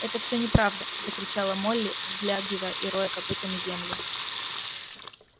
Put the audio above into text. это все неправда закричала молли взлягивая и роя копытами землю